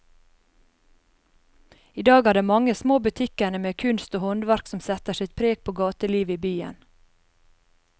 I dag er det de mange små butikkene med kunst og håndverk som setter sitt preg på gatelivet i byen.